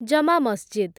ଜମା ମସଜିଦ୍